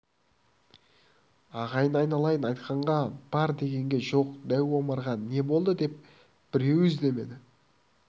ағайын айналайын айтқанға бар дегенге жоқ дәу омарға не болды деп біреуі іздемеді